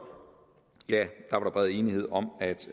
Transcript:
var der bred enighed om